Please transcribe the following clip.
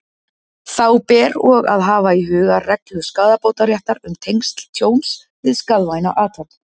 Þá ber og að hafa í huga reglu skaðabótaréttar um tengsl tjóns við skaðvæna athöfn.